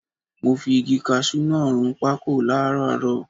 Mo fi igi kaṣú náà run pákò láràárọ.